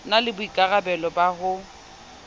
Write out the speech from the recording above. na le boikarabelo ba ho